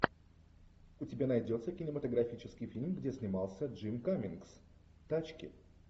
у тебя найдется кинематографический фильм где снимался джим каммингс тачки